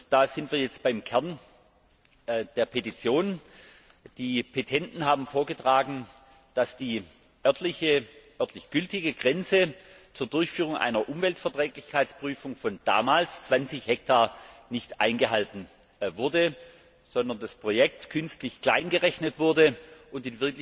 Da sind wir jetzt beim Kern der Petition. Die Petenten haben vorgetragen, dass die örtlich gültige Grenze zur Durchführung einer Umweltverträglichkeitsprüfung von damals 20 Hektar nicht eingehalten wurde, sondern das Projekt künstlich klein gerechnet wurde und